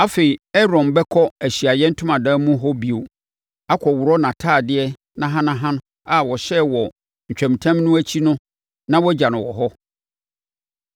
“Afei, Aaron bɛkɔ Ahyiaeɛ Ntomadan mu hɔ bio akɔworɔ nʼatadeɛ nahanaha a ɔhyɛɛ wɔ ntwamutam no akyi no na wagya no wɔ hɔ.